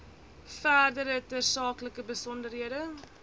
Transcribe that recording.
verdere tersaaklike besonderhede